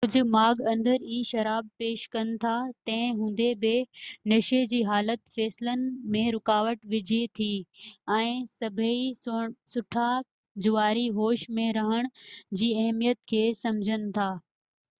ڪجهہ ماڳ اندر ئي شراب پيش ڪن ٿا تنهن هوندي بہ نشي جي حالت فيصلن ۾ رڪاوٽ وجهي ٿي ۽ سڀئي سٺا جواري هوش ۾ رهڻ جي اهميت کي سمجهن ٿا